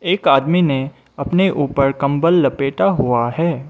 एक आदमी ने अपने ऊपर कम्बल लपेटा हुआ है।